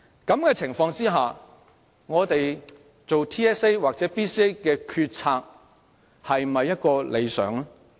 在這種情況下，我們就 TSA 或 BCA 所作的決策是否理想？